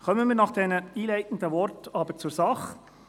Kommen wir nach diesen einleitenden Worten zur Sache: